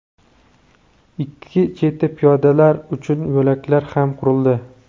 ikki chetida piyodalar uchun yo‘laklar ham qurildi.